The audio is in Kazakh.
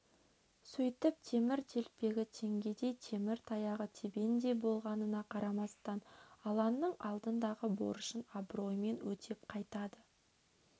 сөйтіп темір телпегі теңгедей темір таяғы тебендей болғанына қарамастан алланың алдындағы борышын абыроймен өтеп қайтады